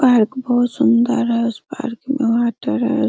Park बहुत सुन्दर है उस पार्क में वाटर है।